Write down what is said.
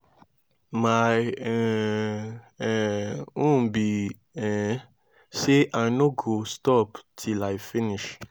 my um um own be um say i no go stop till i finish